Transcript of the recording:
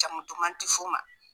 Jamu duman ti f'u ma